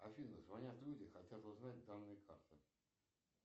афина звонят люди хотят узнать данные карты